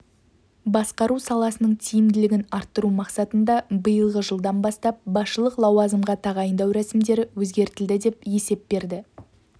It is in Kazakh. басқару саласының тиімділігін арттыру мақсатында биылғы жылдан бастап басшылық лауазымға тағайындау рәсімдері өзгертілді деп есеп берді